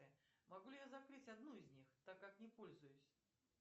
могу ли я закрыть одну из них так как не пользуюсь